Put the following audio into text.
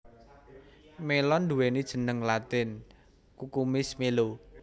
Mélon nduwéni jeneng latin Cucumis melo